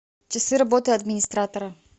часы работы администратора